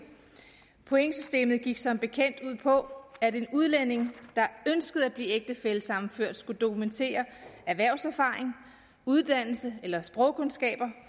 pointsystemet gik som bekendt ud på at en udlænding der ønskede at blive ægtefællesammenført skulle dokumentere erhvervserfaring uddannelse eller sprogkundskaber